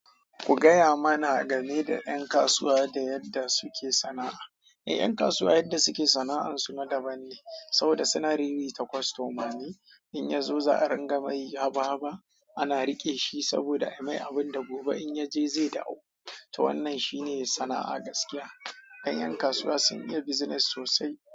Ku gaya mana game da 'yan kasuwa da yadda suke sana'a. Ƴan kasuwa yadda suke sana'an su na daban ne saboda suna riri ta kostoma ne. In ya zo za'a ringa mai haba haba ana riƙe shi saboda ai mai abin da gobe in ya je zai dawo to wannan shine sana'a gaskiya. Ai yan kasuwa sun iya business sosai.